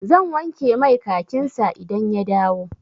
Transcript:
Zan wanke mai kakin sa idan ya dawo.